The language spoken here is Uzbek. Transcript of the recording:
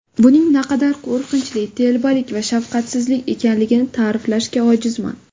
Buning naqadar qo‘rqinchli, telbalik va shafqatsizlik ekanligini ta’riflashga ojizman.